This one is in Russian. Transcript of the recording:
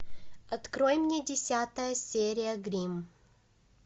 открой мне десятая серия гримм